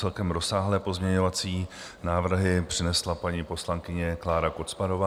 Celkem rozsáhlé pozměňovací návrhy přinesla paní poslankyně Klára Kocmanová.